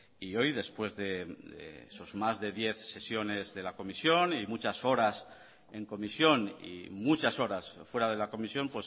y hoy después de sus más de diez sesiones de la comisión y muchas horas en comisión y muchas horas fuera de la comisión